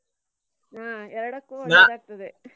ಹ್ಮ್ ಎರಡಕ್ಕೂ ಆಗ್ತದೆ.